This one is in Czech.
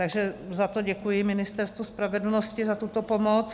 Takže za to děkuji Ministerstvu spravedlnosti, za tuto pomoc.